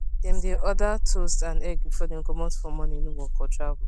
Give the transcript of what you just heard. dem dae enjoy toast and eggs before dem comot for morning work or travel